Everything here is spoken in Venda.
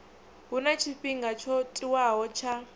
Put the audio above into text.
huna tshifhinga tsho tiwaho tsha